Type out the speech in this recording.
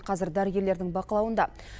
қазір дәрігерлердің бақылауында